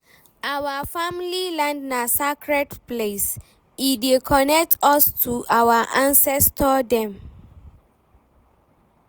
Our family land na sacred place, e dey connect us to our ancestor dem.